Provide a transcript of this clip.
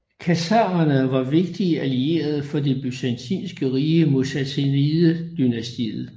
Khazarerne var vigtige allierede for det byzantinske rige mod Sassanidedynastiet